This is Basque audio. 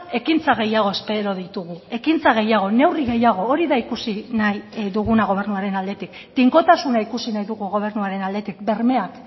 ekintza gehiago espero ditugu ekintza gehiago neurri gehiago hori da ikusi nahi duguna gobernuaren aldetik tinkotasuna ikusi nahi dugu gobernuaren aldetik bermeak